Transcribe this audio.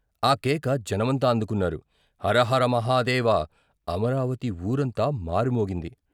ఆ కేక జనమంతా అందుకున్నారు ' హర హర మహాదేవ ' అమరావతి ఊరంతా మార్మోగింది.